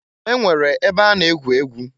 E nwere ebe a na-egwu egwu.